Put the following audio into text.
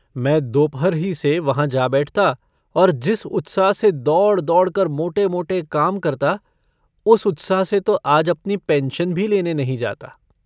मैं दोपहर ही से वहाँ जा बैठता और जिस उत्साह से दौड़-दौड़ कर मोटे-मोटे काम करता, उस उत्साह से तो आज अपनी पेन्शन भी लेने नहीं जाता।